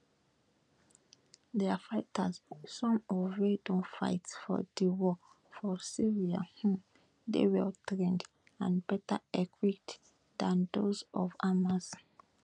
dia fighters some of wey don fight for di war for syria um dey well trained and better equipped dan those of hamas